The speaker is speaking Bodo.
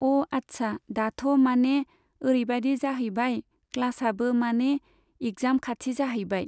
अ' आच्छा दाथ' माने ओरैबादि जाहैबाय क्लासाबो माने इखजाम खाथि जाहैबाय।